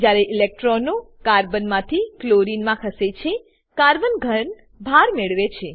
જ્યારે ઇલેક્ટ્રોનો કાર્બન માંથી ક્લોરીન માં ખસે છે કાર્બન ઘન ભાર મેળવે છે